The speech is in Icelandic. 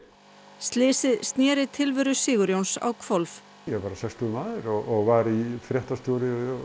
slysið sneri tilveru Sigurjóns á hvolf ég var sextugur maður og var fréttastjóri á